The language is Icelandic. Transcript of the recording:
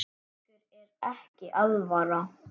Ykkur er ekki alvara!